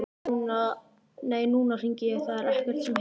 Nei, nú hringi ég, það er ekkert sem heitir!